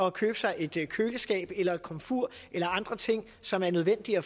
at købe sig et køleskab eller et komfur eller andre ting som er nødvendige